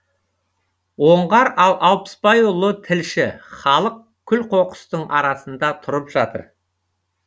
оңғар алпысбайұлы тілші халық күл қоқыстың арасында тұрып жатыр